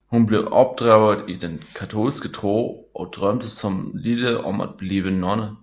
Hun blev opdraget i den katolske tro og drømte som lille om at blive nonne